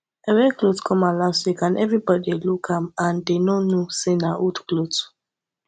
i wear cloth come out last week and everybody dey look am and dey no know say na old cloth